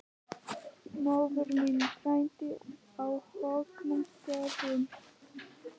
Móðir mín fæddist á Högna- stöðum.